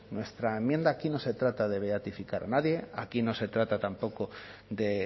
nuestra enmienda aquí no se trata de beatificar a nadie aquí no se trata tampoco de